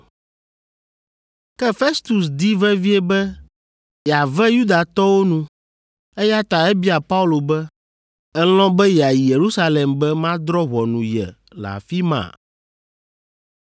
Ke Festus di vevie be yeave Yudatɔwo nu, eya ta ebia Paulo be, “Èlɔ̃ be yeayi Yerusalem be madrɔ̃ ʋɔnu ye le afi ma?”